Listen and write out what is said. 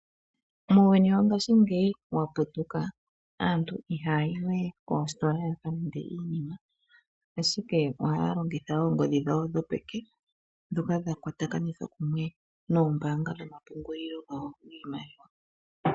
Muuyuni wongashingeyi wa putuka aantu ihaya yi we koositola ya ka lande iinima, ashike ohaya longitha oongodhi dhawo dhopeke ndhoka dha kwatakanithwa kumwe noombaanga dhomapungulilo dhawo dhiimaliwa.